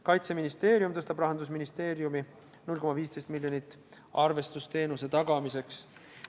Kaitseministeerium tõstab Rahandusministeeriumi 0,15 miljonit arvestusteenuse tagamiseks.